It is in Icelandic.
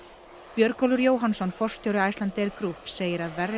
Björgólfur Jóhannsson forstjóri Icelandair Group segir að verri